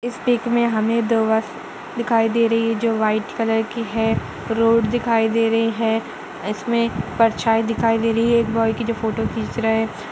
Pick में हमे दो बस दिखाई दे रही है जो व्हाइट कलर की है। रोड दिखाई दे रही है। इसमे परछाईं दिखाई दे रही है एक बॉय की जो फोटो खिंच रहा है।